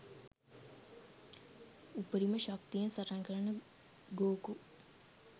උපරිම ශක්තියෙන් සටන්කරන ගෝකු